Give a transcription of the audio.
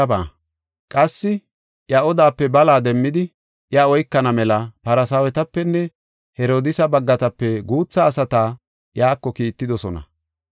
Qassi iya odaape bala demmidi, iya oykana mela, Farsaawetapenne Herodiisa baggatape guutha asata iyako kiittidosona.